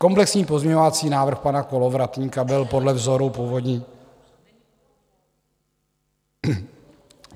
Komplexní pozměňovací návrh pana Kolovratníka byl podle vzoru původní...